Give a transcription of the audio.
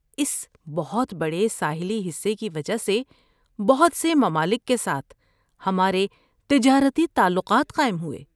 اس بہت بڑے ساحلی حصے کی وجہ سے بہت سے ممالک کے ساتھ ہمارے تجارتی تعلقات قائم ہوئے۔